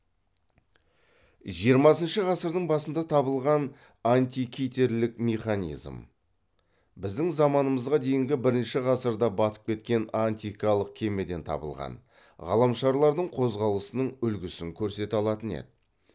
жиырмасыншы ғасырдың басында табылған антикитерлік механизм біздің заманымызға дейінгі бірінші ғасырда батып кеткен антикалық кемеден табылған ғаламшарлардың қозғалысының үлгісін көрсете алатын еді